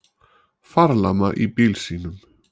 Farlama í bíl sínum